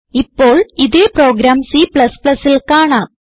ഇപ്പോൾ ഇതേ പ്രോഗ്രാം Cൽ കാണാം